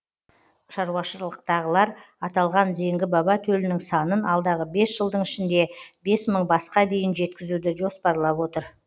шаруашылықтағылар аталған зеңгі баба төлінің санын алдағы бес жылдың ішінде бес мың басқа дейін жеткізуді жоспарлап отыр